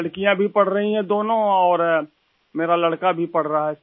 लड़कियाँ भी पढ़ रहीं हैं दोनों और मेरा लड़का भी पढ़ रहा है सर